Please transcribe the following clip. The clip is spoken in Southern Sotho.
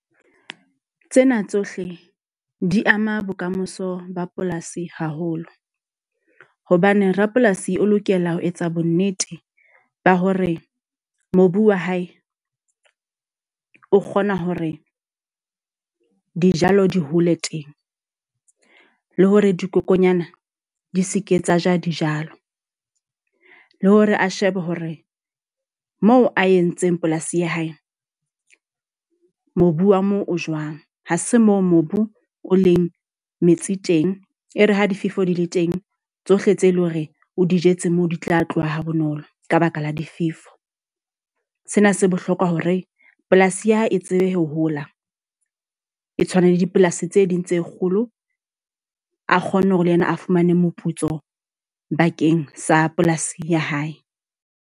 Tsena tsohle di ama bokamoso ba polasi haholo. Hobane rapolasi o lokela ho etsa bo nnete ba hore mobu wa hae o kgona hore dijalo di hole teng. Le hore dikokonyana di seke tsa ja dijalo. Le hore a shebe hore moo a entseng polasi ya hae mobu wa moo o jwang. Ha se moo mobu o leng metsi teng. E re ha difefo di le teng tsohle tse leng hore o di jetse moo, di tla tloha ha bonolo ka baka la difefo. Sena se bohlokwa hore polasi ya hae e tsebe ho hola. E tshwana le dipolasi tse ding tse kgolo. A kgonne hore le yena a fumane moputso bakeng sa polasing ya hae.